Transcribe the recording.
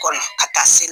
Kɔnɔ ka taa se